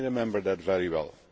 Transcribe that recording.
I remember that very well.